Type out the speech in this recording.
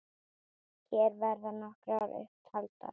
Hér verða nokkrar upp taldar